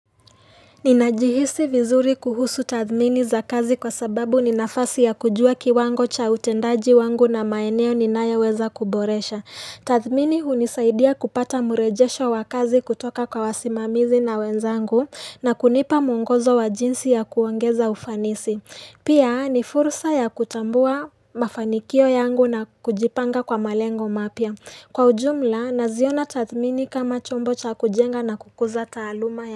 Ninajihisi vizuri kuhusu tathmini za kazi kwa sababu ninafasi ya kujua kiwango cha utendaji wangu na maeneo ninayoweza kuboresha. Tathmini hunisaidia kupata murejesho wa kazi kutoka kwa wasimamizi na wenzangu na kunipa muongozo wa jinsi ya kuongeza ufanisi. Pia ni fursa ya kutambua mafanikio yangu na kujipanga kwa malengo mapya. Kwa ujumla, naziona tathmini kama chombo cha kujenga na kukuza taaluma ya.